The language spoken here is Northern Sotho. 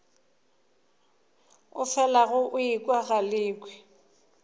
o felago o ekwa galekwe